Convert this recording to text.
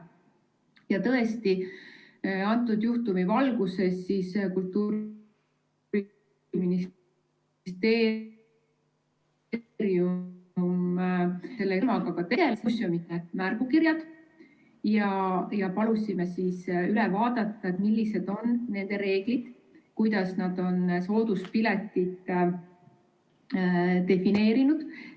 Ja tõesti, selle juhtumi valguses Kultuuriministeerium ...... märgukirjad ja palusime üle vaadata, millised on need reeglid, kuidas nad on sooduspiletit defineerinud.